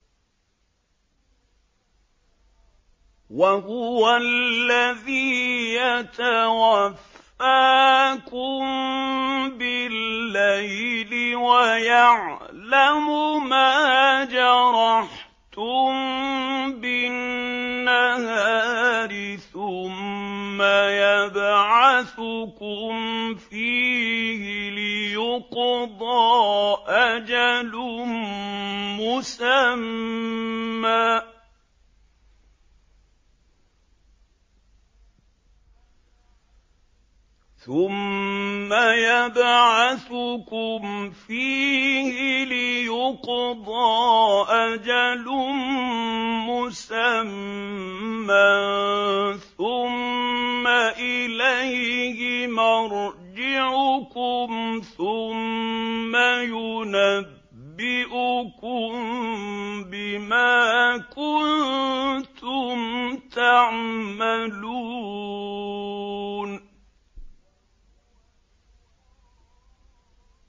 وَهُوَ الَّذِي يَتَوَفَّاكُم بِاللَّيْلِ وَيَعْلَمُ مَا جَرَحْتُم بِالنَّهَارِ ثُمَّ يَبْعَثُكُمْ فِيهِ لِيُقْضَىٰ أَجَلٌ مُّسَمًّى ۖ ثُمَّ إِلَيْهِ مَرْجِعُكُمْ ثُمَّ يُنَبِّئُكُم بِمَا كُنتُمْ تَعْمَلُونَ